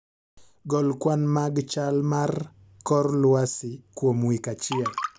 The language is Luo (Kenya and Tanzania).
Gol kwan mag chal mar kor lwasi kuom wik achiel